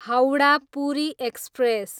Howrah, Puri express